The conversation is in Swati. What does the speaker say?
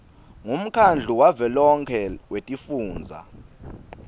ngumkhandlu wavelonkhe wetifundza